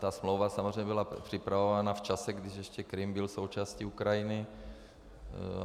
Ta smlouva samozřejmě byla připravována v čase, když ještě Krym byl součástí Ukrajiny.